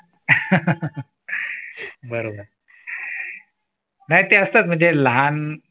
बरोबर नाय ते असतंच म्हणजे लहान